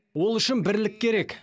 ол үшін бірлік керек